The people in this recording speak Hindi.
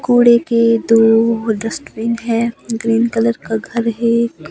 कूड़े के दो डस्टबिन हैं ग्रीन कलर का घर है।